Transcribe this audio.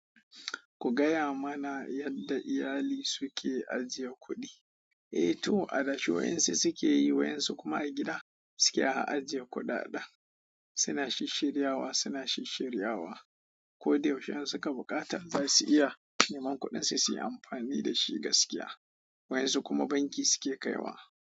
Ku gaya mana yadda iyali suke ajiye kuɗi? Eh to, adashe wayan su suke yi, wayan su kuma a gida suke ajiye kuɗaɗen. Suna shishshiryawa, suna shi shshiryawa. Ko da yaushe suka bukata za su iya neman kuɗin su, su yi amfani da shi gaskiya. Wayan su kuma banki suke kaiwa.